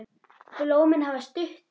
Blómin hafa stutta títu.